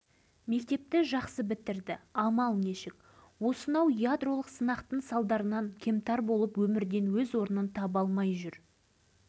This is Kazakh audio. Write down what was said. сөз арасында айта кетейін осы сапарымда мен бөлкен қаббасовтың әйелі қазкен шешеймен де жолыққам